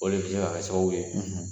O de bi se ka kɛ sababu ye